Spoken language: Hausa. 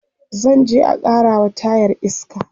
zanje a karawa tayar iska